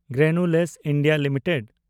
granules India limited